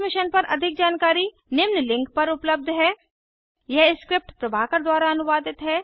इस मिशन पर अधिक जानकारी निम्न लिंक पर उपलब्ध है यह स्क्रिप्ट प्रभाकर द्वारा अनुवादित है